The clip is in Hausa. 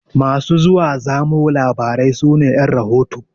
Masu zuwa zamo labarai su ne ƴan rahoto.